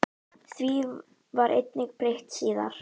Því var einnig breytt síðar.